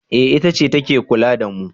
eh itace ta ke kula da mu